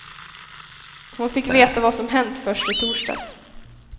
Hon fick veta vad som hänt först i torsdags.